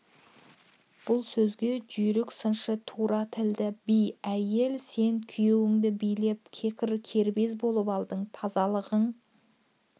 бұл сөзге жүйрік сыншы тура тілді би әйел сен күйеуінді билеп кекір кербез болып алдың тазалығың